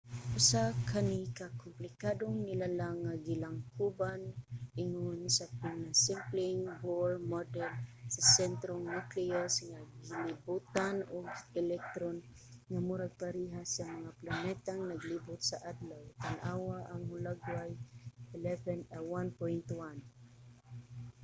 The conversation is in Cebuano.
usa kani ka komplikadong nilalang nga gilangkuban ingon sa pinasimpleng bohr model sa sentro nga nucleus nga gilibutan og mga electron nga murag pareha sa mga planetang naglibot sa adlaw - tan-awa ang hulagway 1.1